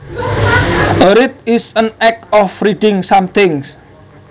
A read is an act of reading something